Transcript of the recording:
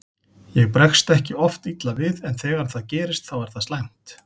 Ég bregst ekki oft illa við en þegar það gerist þá er það slæmt.